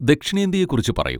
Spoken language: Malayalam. ദക്ഷിണേന്ത്യയെ കുറിച്ച് പറയൂ.